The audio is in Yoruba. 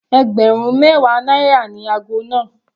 Ẹgbẹ̀rún mẹwa náírà ni ago náà.